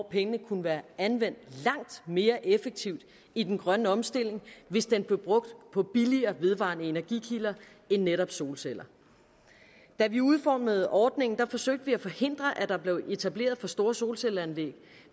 penge kunne være anvendt langt mere effektivt i den grønne omstilling hvis de blev brugt på billigere vedvarende energikilder end netop solceller da vi udformede ordningen forsøgte vi at forhindre at der blev etableret for store solcelleanlæg